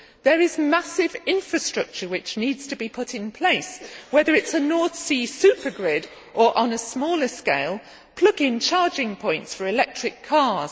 There is massive infrastructure which needs to be put in place, whether it is a North Sea supergrid or, on a smaller scale, plug in charging points for electric cars.